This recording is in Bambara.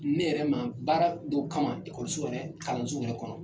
Ne yɛrɛ ma baara dɔ kama ekɔliso yɛrɛ kalanso yɛrɛ kɔnɔ.